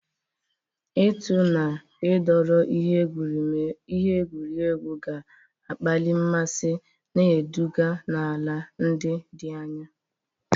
Ịtụ na ịdọrọ ihe egwuregwu ga-akpali mmasị, na-eduga n'ala ndị dị anya.